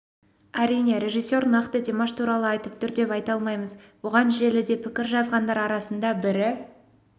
әрине режиссер нақты димаш туралы айтып тұр деп айта алмаймыз бұған желіде пікір жазғандар арасында бірі